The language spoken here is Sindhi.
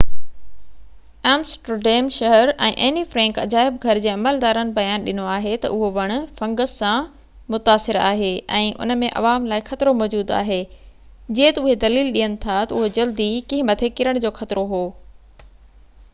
ايمسٽرڊيم شهر ۽ ايني فرينڪ عجائب گهر جي عملدارن بيان ڏنو تہ اهو وڻ فنگس سان متاثر آهي ۽ ان ۾ عوام لاءِ خطرو موجود آهي جيئن تہ اهي دليل ڏين ٿا تہ اهو جلدي ڪنهن مٿي ڪرڻ جو خطرو هو